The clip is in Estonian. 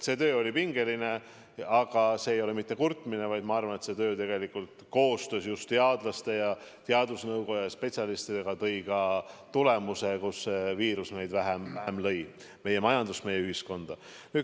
See töö oli pingeline, aga see ei ole mitte kurtmine, vaid ma arvan, et see töö koostöös just teadlaste, teadusnõukoja ja spetsialistidega tõi ka tulemuse, nii et see viirus lõi vähem meid, meie majandust, meie ühiskonda.